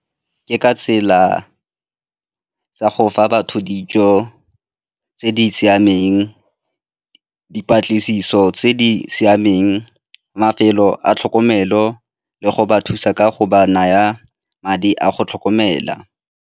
Ke ka tsela tsa go fa batho dijo tse di siameng, dipatlisiso tse di siameng, mafelo a tlhokomelo le go ba thusa ka go ba naya madi a go tlhokomela.